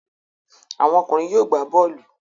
Àwọn ọkùnrin yóò gbá bọ́ọ́lù.